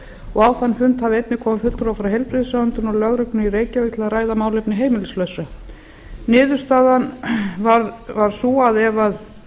og á þann fund hafi einnig komið fulltrúi frá heilbrigðisráðuneytinu og lögreglunni í reykjavík til að ræða málefni heimilislausra niðurstaðan varð sú að ef